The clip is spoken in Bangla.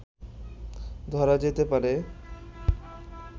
ধরা যেতে পারে